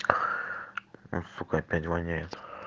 у сука опять воняет